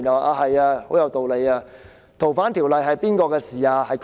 究竟修訂《逃犯條例》是誰的事情？